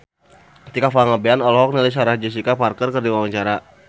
Tika Pangabean olohok ningali Sarah Jessica Parker keur diwawancara